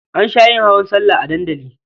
An sha yin hawan sallah a dandali.